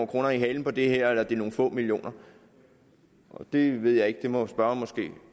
kroner i halen på det her eller om det er nogle få millioner det ved jeg ikke det må spørgeren måske